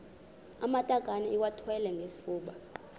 amatakane iwathwale ngesifuba